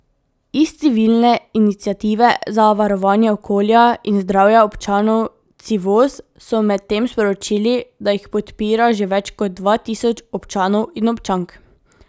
Iz civilne iniciative za varovanje okolja in zdravja občanov Civoz so medtem sporočili, da jih podpira že več kot dva tisoč občanov in občank.